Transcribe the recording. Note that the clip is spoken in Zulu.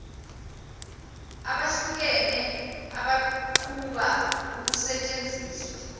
abahlukene abaqhuba ukusentsenziswa